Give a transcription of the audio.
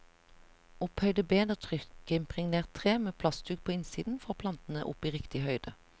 Opphøyde bed av trykkimpregnert tre med plastduk på innsiden får plantene opp i riktig høyde.